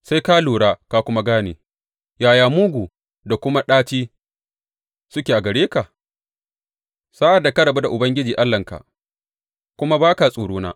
Sai ka lura ka kuma gane yaya mugu da kuma ɗaci suke a gare ka sa’ad da ka rabu da Ubangiji Allahnka kuma ba ka tsorona,